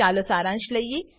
ચાલો સારાંશ લઈએ